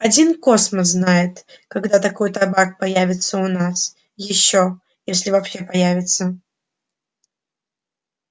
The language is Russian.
один космос знает когда такой табак появится у нас ещё если вообще появится